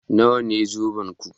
Nawa ne zobenku?